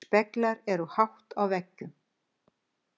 Speglar eru hátt á veggjum.